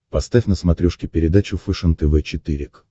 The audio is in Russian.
поставь на смотрешке передачу фэшен тв четыре к